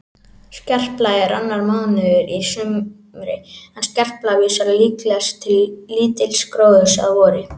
Skerpla er annar mánuður í sumri en skerpla vísar líklegast til lítils gróðurs að vori.